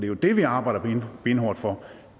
jo det vi arbejder benhårdt for